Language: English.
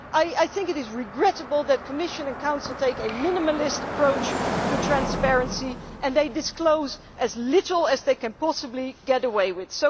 I think it is regrettable that the Commission and the Council take a minimalist approach to transparency and disclose as little as they can possibly get away with.